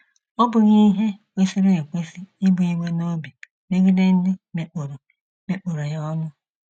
Ọ́ bụghị ihe kwesịrị ekwesị ibu iwe n’obi megide ndị mekpọrọ mekpọrọ ya ọnụ?